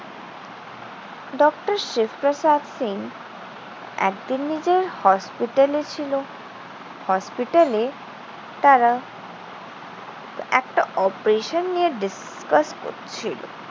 Doctor Shiv Prasad Singh একদিন নিজের হসপিটালে ছিল। হসপিটালে তারা একটা operation নিয়ে discuss করছিল।